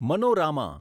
મનોરામાં